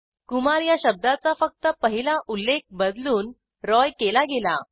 कुमार या शब्दाचा फक्त पहिला उल्लेख बदलून रॉय केला गेला